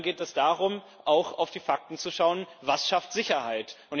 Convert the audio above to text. Dann geht es darum, auch auf die Fakten zu schauen Was schafft Sicherheit?